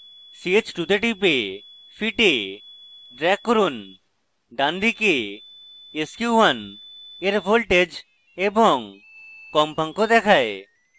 ch2 তে টিপে fit এ drag করুন ডানদিকে sq1 এর voltage এবং কম্পাঙ্ক দেখায়